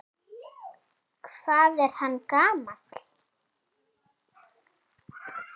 Hvað er hann gamall?